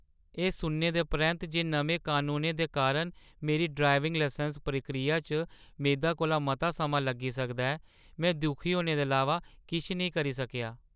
एह्‌ सुनने दे परैंत्त जे नमें कनूनें दे कारण मेरी ड्राइविंग लाइसैंस प्रक्रिया च मेदा कोला मता समां लग्गी सकदा ऐ, में दुखी होने दे अलावा किश नेईं करी सकेआ।